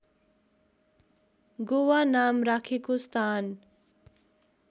गोवा नाम राखेको स्थान